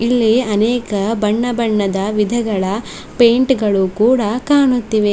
ಇಲ್ಲಿ ಅನೇಕ ಬಣ್ಣ ಬಣ್ಣದ ವಿಧಗಳ ಪೈಂಟ್ ಗಳು ಕೂಡ ಕಾಣುತ್ತಿವೆ.